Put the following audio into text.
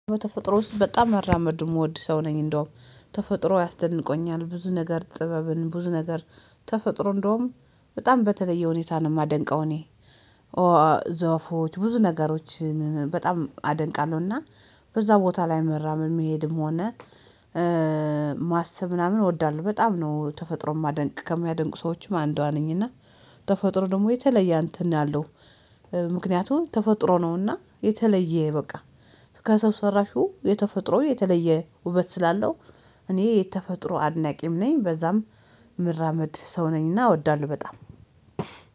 በተፈጥሮ ውስጥ በጣም መራመድ የምወድ ሰው ነኝ እንደውም ተፈጥሮ ያስደንቆኛል ብዙ ነገር ጥበብን ብዙ ነገር ተፈጥሮ እንደውም በጣም በተለየ ሁኔታ ነው የማደንቀው። እኔ ዛፎች ብዙ ነገሮችን በጣም አደንቃለሁና በዛ ቦታ ላይ መራመድ መሄድም ሆነ ማሰብ ምናምን እወዳለሁ በጣም ነው ተፈጥሮ የማደንቅ ከሚያደንቁ ሰዎችም አንዷ ነኝ። እና ተፈጥሮ ደግሞ የተለየ እንትን አለው ምክንያቱም ተፈጥሮ ነውና የተለየ በቃ ከሰው ሰራሹ የተፈጥሮ የተለየ ውበት ስላለው እኔ የተፈጥሮ አድናቂም ነኝ። በዛም ምራመድ ሰው ነኝና እወዳለሁ በጣም